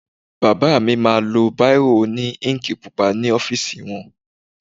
Bàbá mi ma lo báìrò òní íǹkì pupa ní ọ́fìsì wọn.